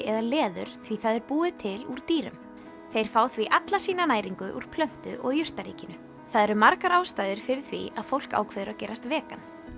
eða leður því það er búið til úr dýrum þeir fá því alla sína næringu úr plöntu og jurtaríkinu það eru margar ástæður fyrir því að fólk ákveður að gerast vegan